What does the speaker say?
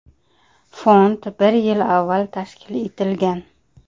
Fond bir yil avval tashkil etilgan.